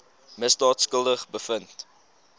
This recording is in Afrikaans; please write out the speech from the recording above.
misdaad skuldig bevind